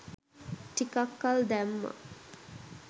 ටිකක් කල් දැම්මා.